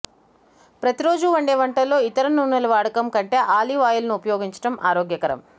ప్రతి రోజూ వండే వంటల్లో ఇతర నూనెల వాడకం కంటే ఆలివ్ ఆయిల్ ను ఉపయోగించడం ఆరోగ్యకరం